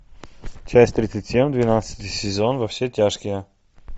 часть тридцать семь двенадцатый сезон во все тяжкие